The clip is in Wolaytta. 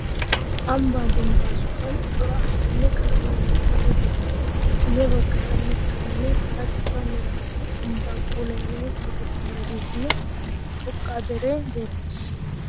Ambbaa dembba sohuwan cora asayinne kaame hemettiyage beettees. Guyye baggaara mittatinne hara cora meretati ambbaa puulayanawu tokettidageetinne xoqqa deree beettees.